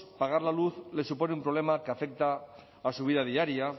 pagar la luz les supone un problema que afecta a su vida diaria